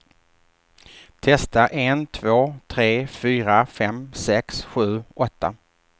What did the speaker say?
Testar en två tre fyra fem sex sju åtta.